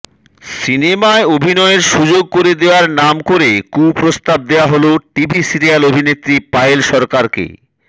সিনেমায় অভিনয়ের সুযোগ করে দেওয়ার নাম করে কুপ্রস্তাব দেওয়া হল টিভি সিরিয়াল অভিনেত্রী পায়েল সরকারকে